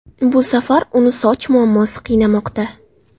Bu safar uni soch muammosi qiynamoqda.